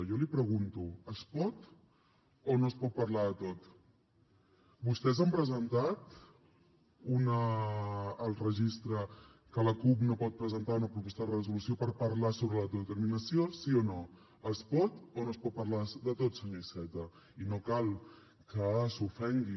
jo li pregunto es pot o no es pot parlar de tot vostès han presentat al registre que la cup no pot presentar una proposta de resolució per parlar sobre l’autodeterminació sí o no es pot o no es pot parlar de tot senyor iceta i no cal que s’ofengui